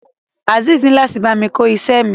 Azeez ni lati bámi ko iṣẹ mi.